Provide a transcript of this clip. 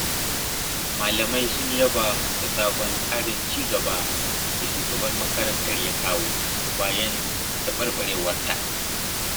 Malamai sun yaba da sabon tsarin cigaba da shugaban makarantar ya kawo, bayan taɓarɓarewarta.